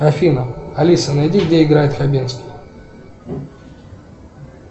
афина алиса найди где играет хабенский